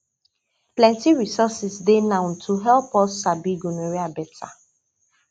plenty resources dey now to help us sabi gonorrhea better